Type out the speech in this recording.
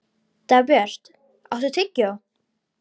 Dagbjört, áttu tyggjó?